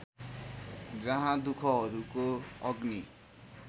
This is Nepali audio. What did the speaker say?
जहाँ दुखहरूको अग्नि